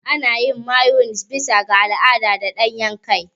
Ana yin Mayones bisa ga al'ada da ɗanyen ƙwai.